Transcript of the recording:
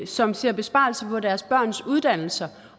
som ser besparelser på deres børns uddannelser